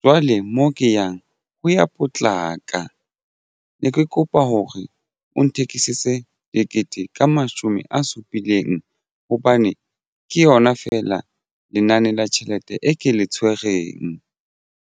jwale mo ke yang ho ya potlaka ne ke kopa hore o nthekiseditse tekete ka mashome a supileng hobane ke yona feela lenane la tjhelete e ke le tshwereng.